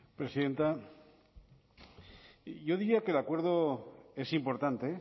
presidenta yo diría que el acuerdo es importante